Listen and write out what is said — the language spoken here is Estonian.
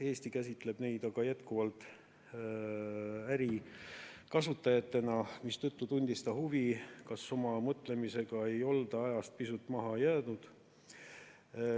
Eesti käsitleb neid aga jätkuvalt ärikasutajatena, mistõttu tundis ta huvi, kas oma mõtlemisega ei olda ajast pisut maha jäänud.